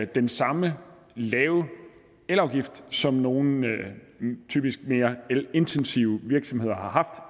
den samme lave elafgift som nogle typisk mere elintensive virksomheder har haft